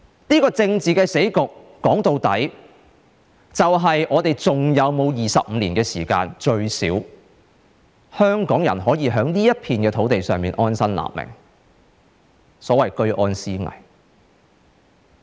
這個政治死局，說到底就是，究竟我們是否還有25年時間，最低限度讓香港人可以在這片土地上安身立命，所謂的"居安思危"？